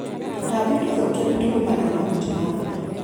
Tũtambi tũthũkia nĩtũgũmagĩra mahuti ma mboga.